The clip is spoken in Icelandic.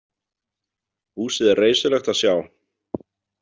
Húsið er reisulegt að sjá.